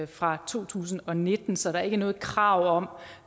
fra to tusind og nitten så der er ikke noget krav om